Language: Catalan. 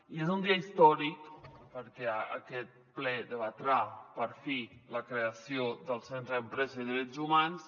i és un dia històric perquè aquest ple debatrà per fi la creació del centre d’empresa i drets humans